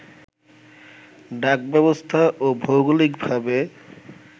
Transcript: ডাক ব্যবস্থা ও ভৌগোলিক ভাবে